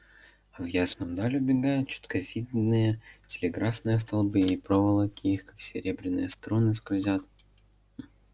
а в ясную даль убегают чётко видные телеграфные столбы и проволоки их как серебряные струны скользят